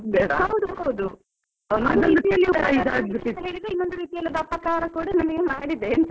ಹೌದು ಹೌದು. ಮಾಡಿದೆ ಅಂತ ಆದ್ರೆ ಇನ್ನೊಂದು ಅಪಕಾರ ಕೂಡ ನಮಗೆ ಮಾಡಿದೆ .